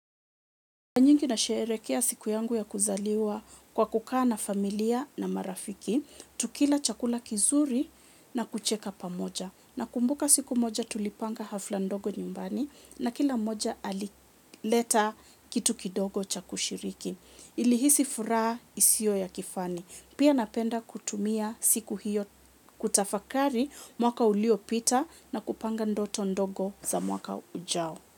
Mara nyingi na sherehekea siku yangu ya kuzaliwa kwa kukaa na familia na marafiki, tukila chakula kizuri na kucheka pamoja. Na kumbuka siku moja tulipanga hafla ndogo nyumbani, na kila moja alileta kitu kidogo cha kushiriki. Nilihisi furaha isio ya kifani. Pia napenda kutumia siku hiyo kutafakari, mwaka ulio pita na kupanga ndoto ndogo za mwaka ujao.